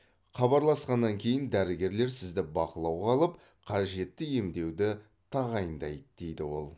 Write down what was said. хабарласқаннан кейін дәрігерлер сізді бақылауға алып қажетті емдеуді тағайындайды деді ол